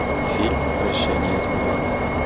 фильм прощание с бумагой